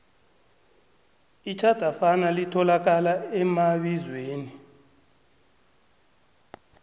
itjhadafana litholakala emabizweni